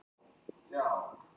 Bongóblíða á Hornströndum.